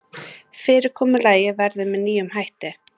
Fyrirkomulagið verður með nýjum hætti